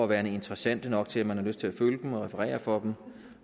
være interessante nok til at man har lyst til at følge dem og referere fra dem